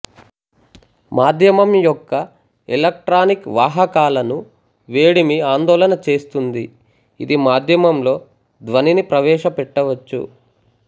మాధ్యమంయొక్క electronic వాహకాలను వేడిమి ఆందోళన చేస్తుంది ఇది మాధ్యమంలో ధ్వనిని ప్రవేశపెట్టవచ్చు